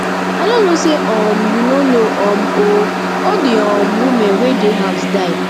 i no know say um you no know um ooo all the um women wey dey house die